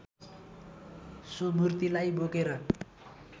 so मूर्तिलाई बोकेर